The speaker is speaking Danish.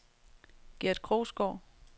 Gert Krogsgaard